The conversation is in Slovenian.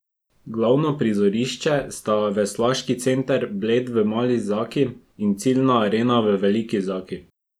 Glavno prizorišče sta Veslaški center Bled v Mali Zaki in ciljna arena v Veliki Zaki.